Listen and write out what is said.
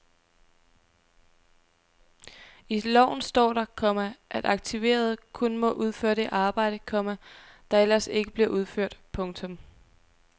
I loven står der, komma at aktiverede kun må udføre det arbejde, komma der ellers ikke bliver udført. punktum